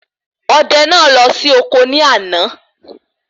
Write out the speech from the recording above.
Odẹ náà lọ sí ọkọ ní àná